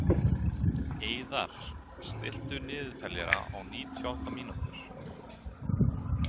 Eiðar, stilltu niðurteljara á níutíu og átta mínútur.